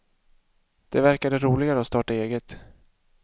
Det verkade roligare att starta eget.